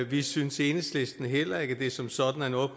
vi synes i enhedslisten heller ikke at det som sådan er noget